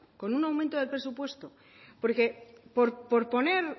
con un aumento de presupuesto por poner